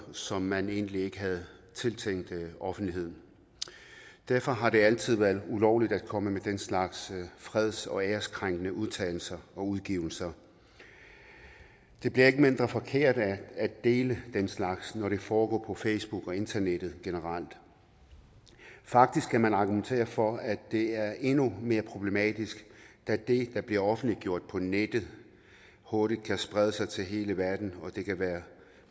som man egentlig ikke havde tiltænkt offentligheden derfor har det altid været ulovligt at komme med den slags freds og ærekrænkende udtalelser og udgivelser det bliver ikke mindre forkert af at dele den slags når det foregår på facebook og internettet generelt faktisk kan man argumentere for at det er endnu mere problematisk da det der bliver offentliggjort på nettet hurtigt kan sprede sig til hele verden og det kan være